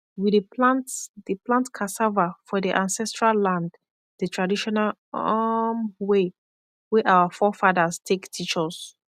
we dey plant dey plant cassava for the ancestral land the traditional um way wey our forefathers take teach us